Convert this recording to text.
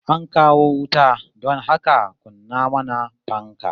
An kawo wuta don haka kunna mana fanka